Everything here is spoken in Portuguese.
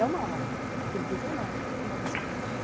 É uma arma, acredite ou não, uma bicicleta, não.